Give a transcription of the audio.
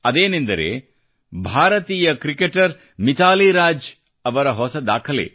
ಅದೇನೆಂದರೆ ಭಾರತೀಯ ಕ್ರಿಕೆಟರ್ ಮಿತಾಲಿ ರಾಜ್ ಅವರ ಹೊಸ ದಾಖಲೆ